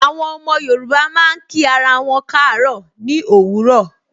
Àwọn ọmọ Yorùbá máa ń kí ara wọn kaaro ni òwúrọ̀.